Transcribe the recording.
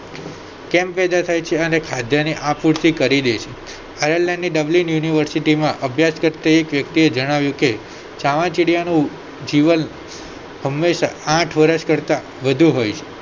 કેમ પેદા થાય છે અને ખાદ્યની આપૂર્તિ કરી લે છે આયરલૅન્ડની ડબલિન યુનિવર્સિટીમાં અભ્યાસ કરતી એક વ્યક્તિ આ જણાવ્યું કે ચામાચીડિયાનું જીવન હંમેશા આઠ વર્ષ કરતા વધુ હોય છે